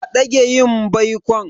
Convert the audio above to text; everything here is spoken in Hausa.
A dage yin baikon.